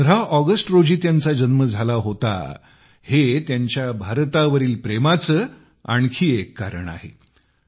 15 August रोजी त्यांचा जन्म झाला होता हे त्यांच्या भारतावरील प्रेमाचे आणखी एक कारण आहे